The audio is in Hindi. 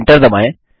Enter दबाएँ